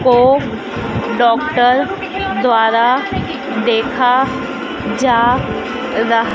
को डॉक्टर द्वारा देखा जा रहा--